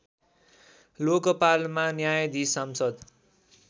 लोकपालमा न्यायाधीश सांसद